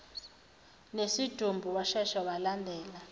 nesidumbu washesha walandela